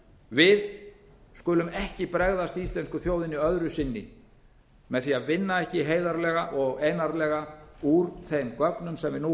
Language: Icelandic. við skulum ekki bregðast íslensku þjóðinni öðru sinni með því að vinna ekki heiðarlega og einarðlega úr þeim gögnum sem við nú höfum